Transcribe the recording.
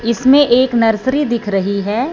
इसमें एक नर्सरी दिख रही है।